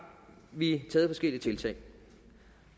vi taget forskellige tiltag